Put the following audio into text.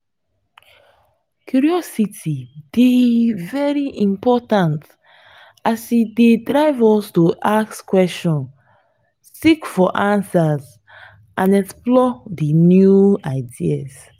curiosity dey very important as e dey drive us to ask questions seek for answers and explore di new ideas.